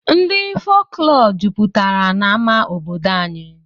Ndị folklọ jupụtara n'amá obodo anyị